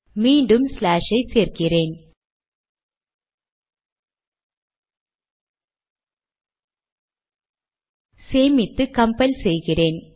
மீண்டும் ஸ்லாஷ் ஐ சேர்க்கிறேன் சேமித்து கம்பைல் செய்கிறேன்